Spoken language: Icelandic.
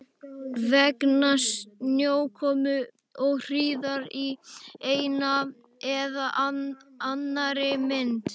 Vegna snjókomu og hríðar í einni eða annarri mynd.